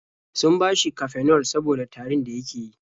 Sun bashi Cafenol saboda tarin da yake yi.